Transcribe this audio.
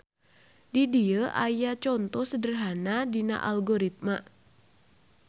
Di dieu aya conto sederhana dina algoritma.